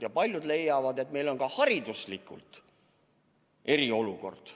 Ja paljud leiavad, et meil on hariduslik eriolukord.